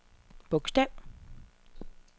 bogstav